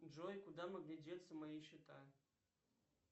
джой куда могли деться мои счета